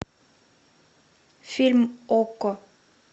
фильм окко